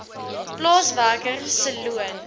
plaaswerker se loon